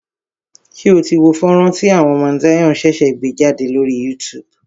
Ṣé o tí wo fọ́nrán tí àwọn Mount Zion ṣẹ̀ṣẹ̀ gbé jádè lórí YouTube?